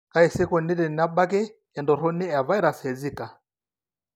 Kaji sa eikoni tenebaki entoroni evirus eZika?